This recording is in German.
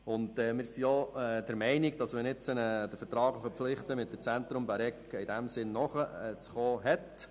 Wir sind auch der Meinung, dass man jetzt der vertraglichen Verpflichtung mit dem Zentrum Bäregg nachzukommen hat.